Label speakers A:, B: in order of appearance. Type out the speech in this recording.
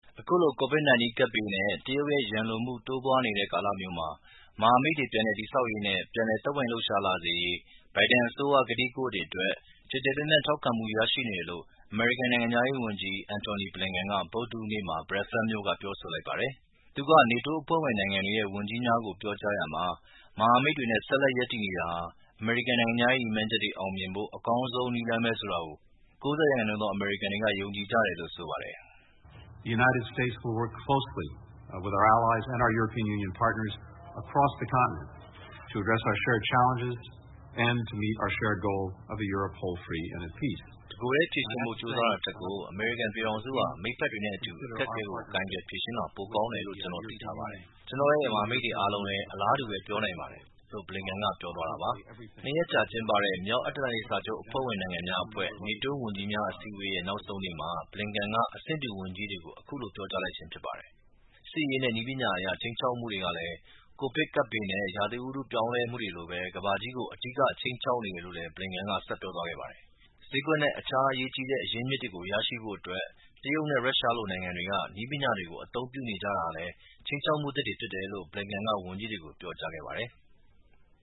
A: အခုလို COVID-19 ကပ်ဘေးနဲ့တရုတ်ရဲ့ ရန်လိုမှု တိုးပွားနေတဲ့ ကာလမျိူးမှာ မဟာမိတ်တွေ ပြန်လည်တည်ဆောက်ရေးနဲ့ပြန်လည် သက်ဝင်လှုပ်ရှားလာစေရေး ဘိုင်ဒန်အစိုးရရဲ့ ကတိကဝတ်အတွက် ကျယ်ကျယ်ပြန် ့ထောက်ခံမှုရရှိနေတယ်လို ့အမေရိကန် နိုင်ငံခြားရေးဝန်ကြီး Antony Blinken ဗုဒ္ဓဟူးနေ့က Brussels မြို့မှာ ပြောဆိုလိုက်ပါတယ်။ သူက NATO အဖွဲ့ဝင်နိုင်ငံတွေရဲ့ ဝန်ကြီးများကို ပြောကြားရာမှာ မဟာမိတ်တွေနဲ့ဆက်လက် ရပ်တည်နေတာဟာ အမေရိကန်နိုင်ငံခြားရေးရည်မှန်းချက်တွေ အောင်မြင်ဖို့ အကောင်းဆုံးနည်းလမ်းပဲလို့၉၀ ရာခိုင်နှုန်းသော အမေရိကန်တွေ ယုံကြည်ကြတယ်လို့ လည်းဆိုပါတယ်။ “ တက
B: ိုယ်ထဲ ဖြေရှင်းဖို့ကြိုးစားတာထက်ကို အမေ
A: ရိကန်ပြည်ထောင်စုဟာ မိတ်ဖ
B: က်တွေနဲ့အတူ အခက်အခဲ
A: တွေကို ကိုင်တွယ်ဖြေရှင်းသွားတာ ပိုကောင်းတယ်လို့ ကျနော်သိထားပါတယ်
B: ။ ကျနော်တို့ရဲ့ မဟာမိ
A: တ်တွေအားလုံးလည်း အလားတူပဲ ပြောနိုင်ပါတယ်။” လို့ Blinken က ပြောသွားတာပါ။ ၂ ရက်အကြာကျင်းပတဲ့မြောက်အတ္တလန်တိတ်စာချုပ် NATO အဖွဲ့ဝင်နိုင်င်ငံ ဝန်ကြီးများ အစည်းအဝေးရဲ့ နောက်ဆုံးနေ့မှာ Blinken က အဆင့်တူ ဝန်ကြီးတွေကို အခုလို ပြောကြားလိုက်ခြင်းဖြစ်ပါတယ်။ စစ်ရေးနဲ့နည်းပညာအရ ခြိမ်းခြောက်မှုတွေဟာလည်း COVID-19 ကပ်ဘေးနဲ့ဥတုရာသီပြောင်းလဲမှုတို့လိုပဲ ကမ္ဘာကြီးကို အဓိကခြိမ်းခြောက်နေတယ် လို့လည်း Blinken က ဆက်ပြောသွားခဲ့ပါတယ်။ ဈေးကွက်နဲ့အခြားအရေးကြီးတဲ့ အရင်းအမြစ်တွေကို ရရှိဖို့အတွက် တရုတ်နဲ့ ရုရှားလို နိုင်ငံတွေဟာ နည
C: ်းပညာတွေကို အသုံးပြုနေကြတာဟာလည်း ခြိမ်းခြောက်မှုအသစ်တွေဖြစ်တယ်လို့ Blinken က ဝန်ကြီးတွေကို ပြောကြားခဲ့ပါတယ်။